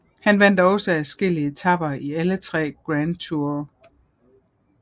Han vandt også adskillige etaper i alle tre Grand Toure